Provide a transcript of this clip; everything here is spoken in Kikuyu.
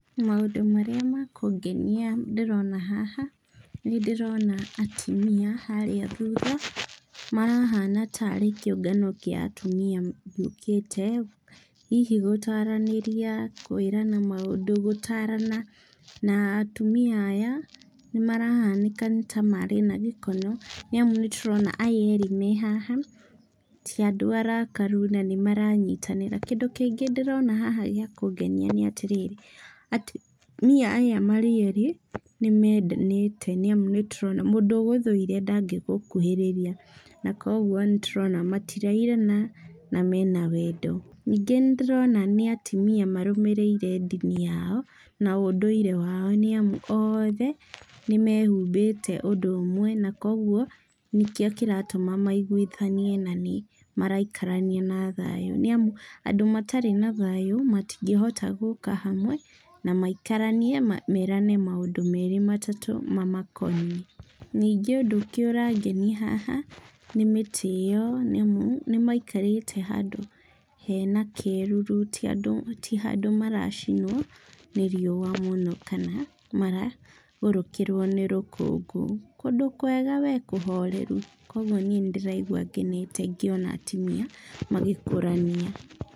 Maũndũ marĩa makũngenia ndĩrona haha, nĩndĩrona atumia harĩa thutha, marahana tarĩ kĩũngano kĩa atumia gĩũkĩte, hihi gũtaranĩria kwĩrana maũndũ, gũtarana na atumia aya nĩmarahanĩka nĩta marĩ na gĩkeno, nĩamu nĩtũrona aya erĩ me haha ti andũ arakaru na nĩmaranyitanĩra. Kĩndũ kĩngĩ ndĩrona haha gĩa kũngenia nĩatĩrĩrĩ, atumia aya marĩ erĩ nĩmendanĩte nĩamu mũndũ ũgũthũire ndangĩgũkuhĩrĩria, na kuoguo nĩtũrona matirairana na mena wendo. Ningĩ nĩndĩrona nĩ atumia marũmĩrĩire ndini yao, na ũdũire wao nĩamu, oothe nĩmehumbĩte ũndũ ũmwe na kuoguo nĩkĩo kĩratũma maiguithanie na nĩmaraikara na thayũ, nĩamu andũ matarĩ na thayũ matingĩhota gũka hamwe na maikaranie merane maũndũ merĩ matatũ mamakoniĩ. Ningĩ ũndũ ũngĩ ũrangenia haha nĩ mĩtĩ ĩyo, nĩamu nĩmaikarĩte handũ hena kĩruru ti andũ ti handũ maracinwo nĩ riũa mũno kana maragũrũkĩrwo nĩ rũkũngũ. Kũndũ kwega we kũhoreru, kuoguo niĩ nĩndĩraigua ngenete ngĩona atumia magĩkũrania.